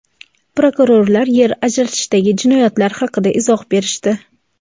Prokurorlar yer ajratishdagi jinoyatlar haqida izoh berishdi.